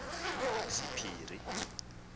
sephiri